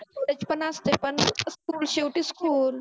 college पण असतच पण school शेवटी school